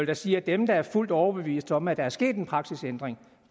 da sige at dem der er fuldt overbevist om at der er sket en praksisændring